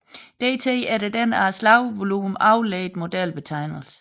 TD efter den af slagvolumet afledte modelbetegnelse